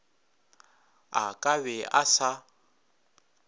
a ka be a sa